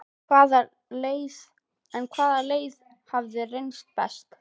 En hvaða leið hefur reynst best?